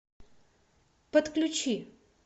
подключи